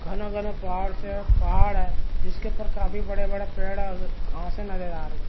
घना-घना पहाड़ से पहाड़ है जिसके ऊपर काफी बड़ा-बड़ा पेड़ और घाँसे नज़र आ रही है ।